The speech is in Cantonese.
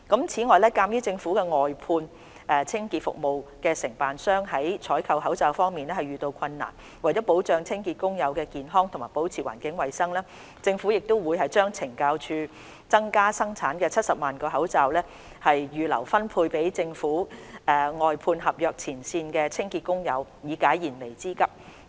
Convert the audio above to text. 此外，鑒於政府外判合約清潔服務承辦商在採購口罩方面遇到困難，為保障清潔工友的健康及保持環境衞生，政府會將懲教署增加生產的70萬個口罩預留分配給政府外判合約前線清潔工友，以解燃眉之急。